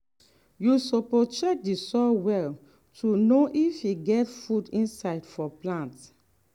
you suppose check the soil well to know if e get food inside for plant.